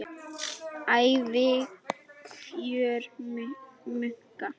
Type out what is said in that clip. Ævikjör munka